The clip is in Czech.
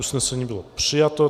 Usnesení bylo přijato.